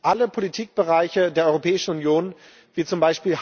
Alle Politikbereiche der Europäischen Union, wie z.